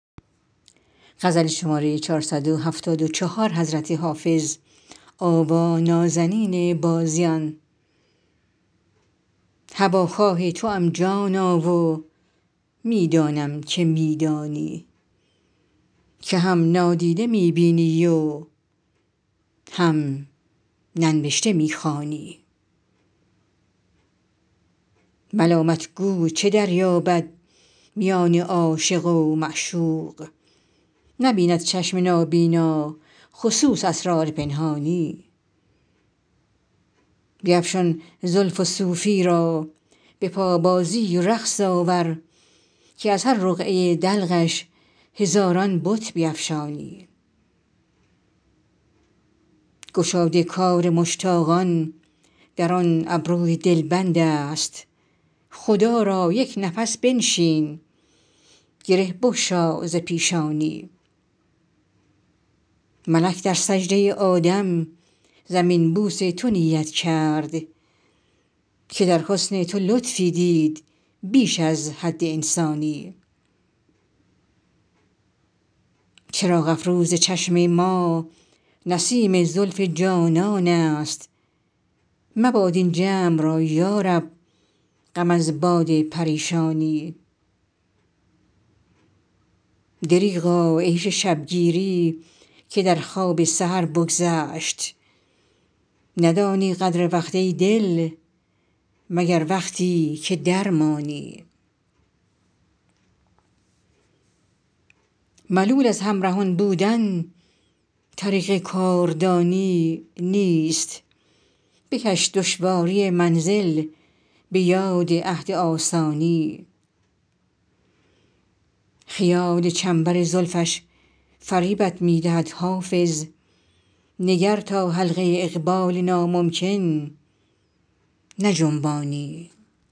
هواخواه توام جانا و می دانم که می دانی که هم نادیده می بینی و هم ننوشته می خوانی ملامت گو چه دریابد میان عاشق و معشوق نبیند چشم نابینا خصوص اسرار پنهانی بیفشان زلف و صوفی را به پابازی و رقص آور که از هر رقعه دلقش هزاران بت بیفشانی گشاد کار مشتاقان در آن ابروی دلبند است خدا را یک نفس بنشین گره بگشا ز پیشانی ملک در سجده آدم زمین بوس تو نیت کرد که در حسن تو لطفی دید بیش از حد انسانی چراغ افروز چشم ما نسیم زلف جانان است مباد این جمع را یا رب غم از باد پریشانی دریغا عیش شب گیری که در خواب سحر بگذشت ندانی قدر وقت ای دل مگر وقتی که درمانی ملول از همرهان بودن طریق کاردانی نیست بکش دشواری منزل به یاد عهد آسانی خیال چنبر زلفش فریبت می دهد حافظ نگر تا حلقه اقبال ناممکن نجنبانی